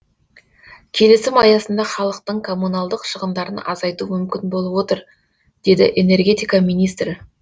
келісім аясында халықтың коммуналдық шығындарын азайту мүмкін болып отыр деді энергетика министрі